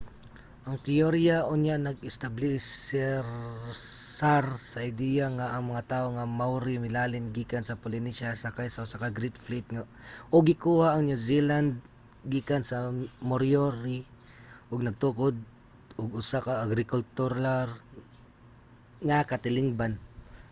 ang teorya unya nag-establisar sa ideya nga ang mga tawo nga maori milalin gikan sa polynesia sakay sa usa ka great fleet ug gikuha ang new zealand gikan sa moriori ug nagtukod og usa ka agrikultural nga katilingban